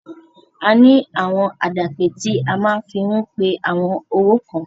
A ní àwọn àdàpè tí a máa fi ń pe àwọn owó kan.